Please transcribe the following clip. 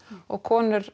og konur